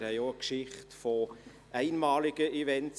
Wir haben auch eine Geschichte von einmaligen Events;